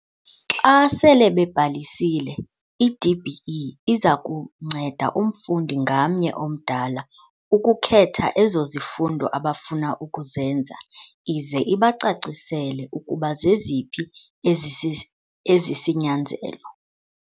Xa sele bebhalisile, i-DBE iza kunceda umfundi ngamnye omdala ukukhetha ezo zifundo abafuna ukuzenza ize ibacacisele ukuba zeziphi ezisisi ezisinyanzelo.